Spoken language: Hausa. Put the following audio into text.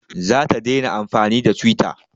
Za ta daina amfani da twitter